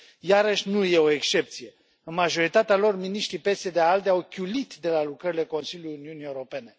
Iarăși, nu este o excepție în majoritatea lor, miniștrii PSD ALDE au chiulit de la lucrările Consiliului Uniunii Europene.